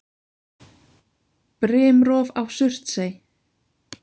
Brimrof á Surtsey.